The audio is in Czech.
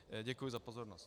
Děkuji za pozornost.